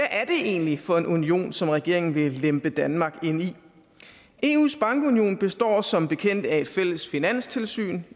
egentlig for en union som regeringen vil lempe danmark ind i eus bankunion består som bekendt af et fælles finanstilsyn